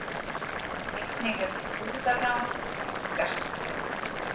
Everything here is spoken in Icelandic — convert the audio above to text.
Einnig hefur brúðarrán tíðkast